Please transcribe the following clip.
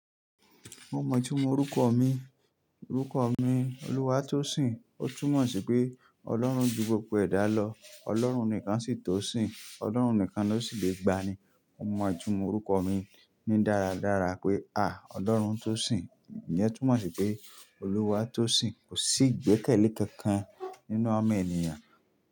Mo mọ̀ọ́ túmọ̀ orúkọ mi, orúkọ mi, Olúwatósìn, ó túmọ̀ sí pé Ọlọ́run ju gbogbo ẹ̀dá lọ, Ọlọ́run nìkan sì tó sin, Ọlọ́run nìkan ló sì lè gba ni. Mo mọ̀ọ́ túmọ̀ orúkọ mi ní dáradára pé a, Ọlọ́run Tósìn, ìyẹn túmọ̀ sí pé Olúwatósìn. Kò sí ìgbẹ́kẹ̀lé kankan nínú ọmọ ènìyàn.